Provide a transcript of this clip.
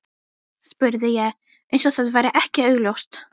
spurði ég- eins og það væri ekki augljóst.